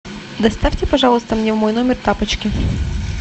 доставьте пожалуйста мне в мой номер тапочки